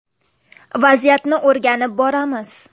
Vaziyatni o‘rganib boramiz.